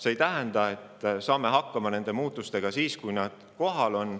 See ei tähenda, et me saame nende muutustega hakkama alles siis, kui need juba kohal on.